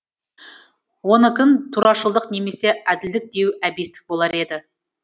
онікін турашылдық немесе әділдік деу әбестік болар еді